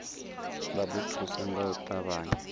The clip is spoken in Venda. vha ḓo thuswa nga u ṱavhanya